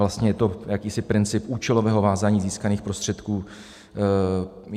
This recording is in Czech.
Vlastně je to jakýsi princip účelového vázání získaných prostředků.